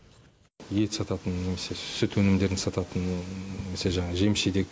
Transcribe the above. ет сататын немесе сүт өнімдерін сататын немесе жаңағы жеміс жидек